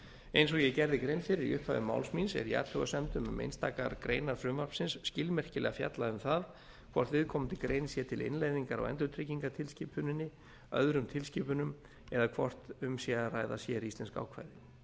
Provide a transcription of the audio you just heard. eins og ég gerði grein fyrir í upphafi máls míns er í athugasemdum um einstakar greinar frumvarpsins skilmerkilega fjallað um það hvort viðkomandi grein sé til innleiðingar á endurtryggingatilskipuninni öðrum tilskipunum eða hvort um sé að ræða séríslensk ákvæði